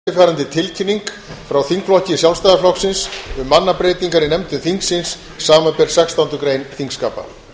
forseta hefur borist eftirfarandi tilkynning frá þingflokki sjálfstæðisflokksins um mannabreytingar í nefndum þingsins samanber sextándu grein þingskapa